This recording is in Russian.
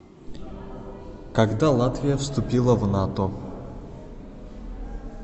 когда латвия вступила в нато